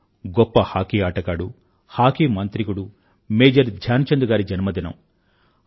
ఇది గొప్ప హాకీ ఆటగాడు హాకీ మాంత్రికుడు మేజర్ ధ్యాన్ చంద్ గారి జన్మదినం